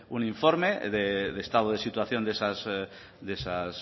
un informe de estado de situación de esas